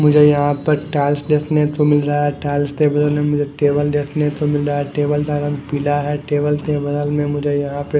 मुझे यहाँं पर टाइल्स देखने को मिल रहा है टाइल्स के बगल में मुझे टेबल देखने को मिल रहा है टेबल का रंग पिला है टेबल के बगल में मुझे यहाँं पे --